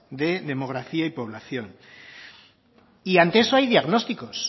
de demografía y población y ante eso hay diagnósticos